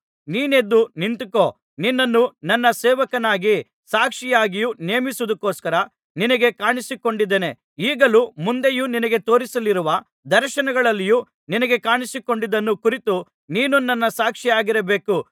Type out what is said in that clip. ನೀನು ಎದ್ದು ನಿಂತುಕೋ ನಿನ್ನನ್ನು ನನ್ನ ಸೇವಕನಾಗಿಯೂ ಸಾಕ್ಷಿಯಾಗಿಯೂ ನೇಮಿಸುವುದಕ್ಕೋಸ್ಕರ ನಿನಗೆ ಕಾಣಿಸಿಕೊಂಡಿದ್ದೇನೆ ಈಗಲೂ ಮುಂದೆಯೂ ನಿನಗೆ ತೋರಿಸಲಿರುವ ದರ್ಶನಗಳಲ್ಲಿಯೂ ನಿನಗೆ ಕಾಣಿಸಿಕೊಂಡದ್ದನ್ನು ಕುರಿತು ನೀನು ನನ್ನ ಸಾಕ್ಷಿಯಾಗಿರಬೇಕು